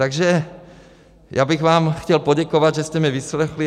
Takže já bych vám chtěl poděkovat, že jste mě vyslechli.